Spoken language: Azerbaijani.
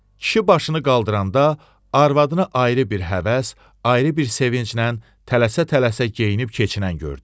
Kişi başını qaldıranda arvadına ayrı bir həvəs, ayrı bir sevinclə tələsə-tələsə geyinib keçinən gördü.